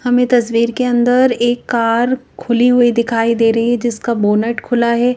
हमें तस्वीर के अंदर एक कार खुली हुई दिखाई दे रही है जिसका बोनट खुला है।